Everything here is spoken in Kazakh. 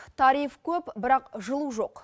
тариф көп бірақ жылу жоқ